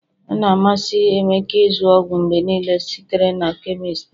ọ na-amasị emeka ịzụ ọgwụ mgbe niile site na chemist a